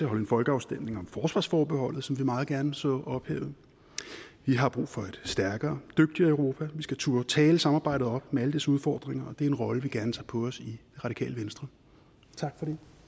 holde en folkeafstemning om forsvarsforbeholdet som vi meget gerne så ophævet vi har brug for et stærkere dygtigere europa vi skal turde tale samarbejdet op med alle dets udfordringer og det er en rolle vi gerne tager på os i radikale venstre tak